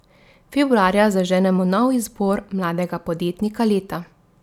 Februarja zaženemo nov izbor mladega podjetnika leta.